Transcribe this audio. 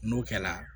N'o kɛla